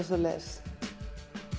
svoleiðis